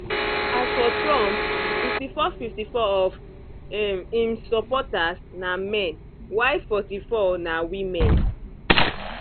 as for trump 54 54 of um im supporters na men while 44 na women